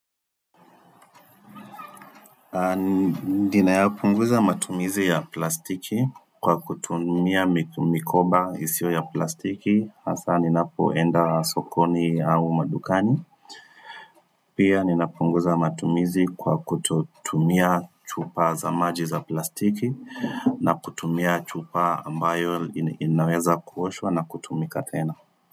Ninayapunguza matumizi ya plastiki kwa kutumia mikoba isiyo ya plastiki hasa ninapoenda sokoni au madukani Pia ninapunguza matumizi kwa kutumia chupa za maji za plastiki na kutumia chupa ambayo inaweza kuoshwa na kutumika tena.